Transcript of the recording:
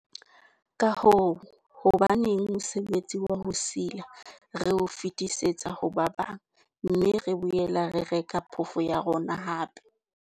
Ka hoo, hobaneng mosebetsi wa ho sila re o fetisetsa ho ba bang, mme re boela re reka phofo ya rona hape?